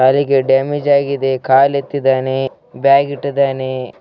Damage ಆಗಿದೆ ಕಾಲು ಎತ್ತಿದ್ದಾನೆ ಬ್ಯಾಗ್‌ ಇಟ್ಟಿದ್ದಾನೆ.